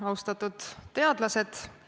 Austatud teadlased!